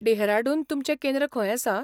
डेहराडून तुमचें केंद्र खंय आसा?